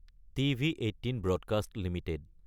TV18 broadcast Ltd